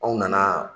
Anw nana